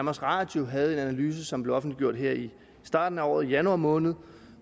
radio havde en analyse som blev offentliggjort her i starten af året i januar måned